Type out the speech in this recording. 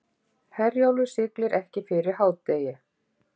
Herjólfur siglir ekki fyrir hádegi